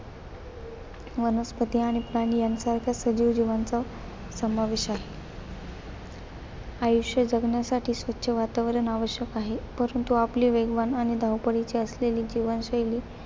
वनस्पती आणि प्राणी यांच्यासारख्या सजीव जीवांचा समावेश आहे. आयुष्य जगण्यासाठी स्वच्छ वातावरण आवश्यक आहे. परंतु आपली वेगवान आणि धावपळीची असलेली जीवनशैलीह्त्र